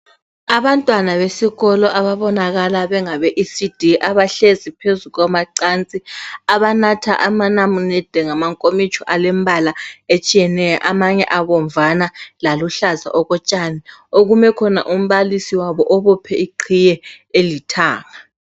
Abantwana besikolo ababonakala bengabe ECD abahlezi phezu kwamacansi abanatha amanamunede ngamankomitsho alembala etshiyeneyo amanye abomvana laluhlaza okotshani okume khona umbalisi wabo obophe iqhiye elithanga